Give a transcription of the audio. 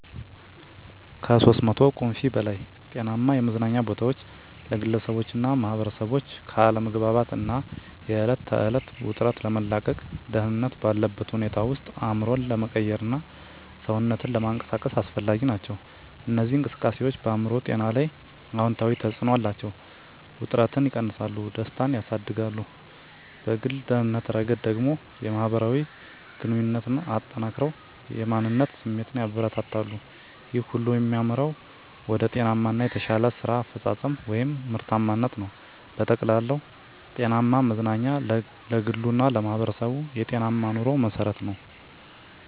(ከ300 ቁምፊ በላይ) ጤናማ የመዝናኛ ቦታዎች ለግለሰቦችና ማኅበረሰቦች ከአለመግባባት እና የዕለት ተዕለት ውጥረት ለመላቀቅ፣ ደህንነት ባለበት ሁኔታ ውስጥ አእምሮን ለመቀየርና ሰውነትን ለመንቀሳቀስ አስፈላጊ ናቸው። እነዚህ እንቅስቃሴዎች በአእምሮ ጤና ላይ አዎንታዊ ተጽዕኖ አላቸው፤ ውጥረትን እና እከግንነትን ይቀንሳሉ፣ ደስታን ያሳድጋሉ። በግል ደህንነት ረገድ ደግሞ፣ የማህበራዊ ግንኙነትን አጠናክረው የማንነት ስሜትን ያበረታታሉ። ይህ ሁሉ የሚመራው ወደ ጤናማ እና የተሻለ የስራ አፈጻጸም (ምርታማነት) ነው። በጠቅላላው፣ ጤናማ መዝናኛ ለግሉ እና ለማህበረሰቡ የጤናማ ኑሮ መሠረት ነው።